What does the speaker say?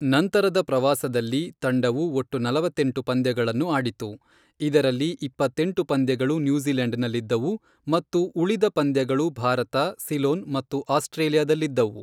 ನಂತರದ ಪ್ರವಾಸದಲ್ಲಿ, ತಂಡವು ಒಟ್ಟು ನಲವತ್ತೆಂಟು ಪಂದ್ಯಗಳನ್ನು ಆಡಿತು, ಇದರಲ್ಲಿ ಇಪ್ಪತ್ತೆಂಟು ಪಂದ್ಯಗಳು ನ್ಯೂಜಿಲೆಂಡ್ ನಲ್ಲಿದ್ದವು ಮತ್ತು ಉಳಿದ ಪಂದ್ಯಗಳು ಭಾರತ, ಸಿಲೋನ್ ಮತ್ತು ಆಸ್ಟ್ರೇಲಿಯಾದಲ್ಲಿದ್ದವು.